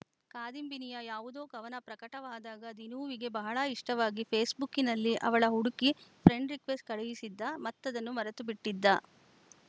ಕಾದಂಬಿನಿಯ ಯಾವುದೋ ಕವನ ಪ್ರಕಟವಾದಾಗ ದಿನೂವಿಗೆ ಬಹಳ ಇಷ್ಟವಾಗಿ ಫೇಸ್ಬುಕ್ಕಿನಲ್ಲಿ ಅವಳ ಹುಡುಕಿ ಫ್ರೆಂಡ್‌ ರಿಕ್ವೆಸ್ಟ್‌ ಕಳುಹಿಸಿದ್ದ ಮತ್ತದನ್ನು ಮರೆತುಬಿಟ್ಟಿದ್ದ